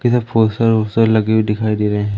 इधर फूल दिखाई दे रहे--